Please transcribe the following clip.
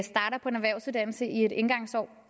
erhvervsuddannelse i et indgangsår